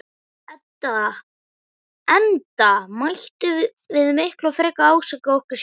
Enda mættum við miklu frekar ásaka okkur sjálf.